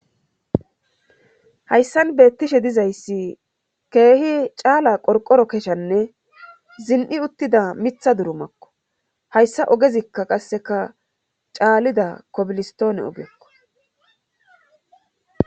Hayssan beettishe dizayssi keehi caala qorqoro keshanne zin'i uttida mitha durumakko hayssa ogezikka qasseka caalida kobilistoone ogekko.